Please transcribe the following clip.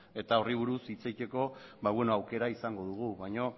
eta horri buruz hitz egiteko aukera izango dugu baina beno